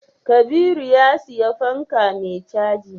Kabiru ya siya fanka mai caji